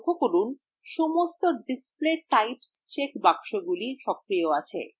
লক্ষ্য করুন যে সমস্ত display types check বাক্সগুলি সক্রিয় আছে